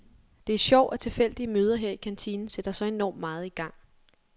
Det er sjovt, at tilfældige møder her i kantinen sætter så enormt meget i gang.